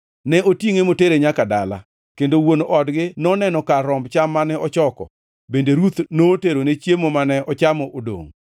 Ne otingʼe motere nyaka dala, kendo wuon odgi noneno kar romb cham mane ochoko. Bende Ruth noterone chiemo mane ochamo odongʼ.